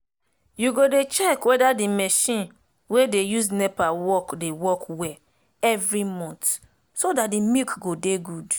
u go dey check weda d marchin wey dey use nepa work dey work well every month so dat d milk go dey good